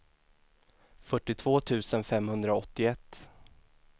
fyrtiotvå tusen femhundraåttioett